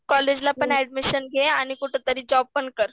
कॉलेजला पण ऍडमिशन घे आणि कुठंतरी जॉबपण कर.